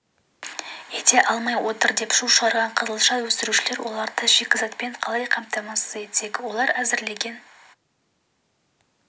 ете алмай отыр деп шу шығарған қызылша өсірушілер оларды шикізатпен қалай қамтамасыз етпек олар әзірлеген